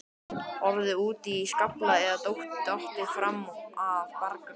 Orðið úti í skafli eða dottið fram af bjargbrún.